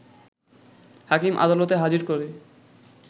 হাকিম আদলতে হাজির করে